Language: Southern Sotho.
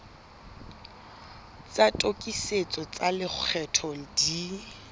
tsa tokisetso tsa lekgetho di